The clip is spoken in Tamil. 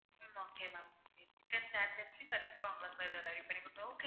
ஹம் okay ma'am okay chicken sandwich உ கண்டிப்பா உங்களுக்கு ready பண்ணி கொடுத்துருவோம்